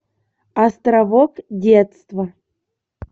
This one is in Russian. островок детства